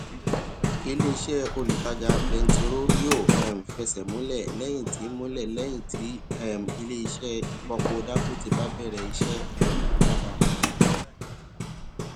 iléiṣẹ olùtajà bẹntiró yóò um fẹsẹ múlẹ lẹyìn tí múlẹ lẹyìn tí um iléiṣẹ ìfọpo dangote bá bẹrẹ iṣẹ um lába kẹta